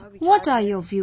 What are your views